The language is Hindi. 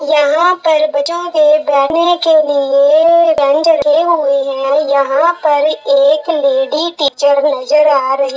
यहाँ पर बच्चो के बैठने के लिए एक बेंच लगी हुई है यहाँ पर एक लेडी टीचर आ रही है।